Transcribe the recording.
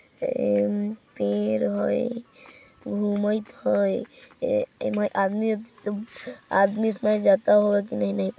पेर है। गुमाइएत है ए-ए- म आदमी है आदमी जाता होगा की नहीं नही ।